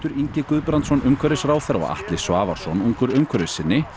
Ingi Guðbrandsson umhverfisráðherra og Atli Svavarsson ungur umhverfissinni